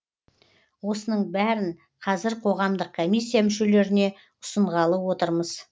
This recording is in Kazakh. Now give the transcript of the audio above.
осының бәрін қазір қоғамдық комиссия мүшелеріне ұсынғалы отырмыз